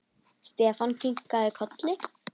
Stefán kinkaði kolli.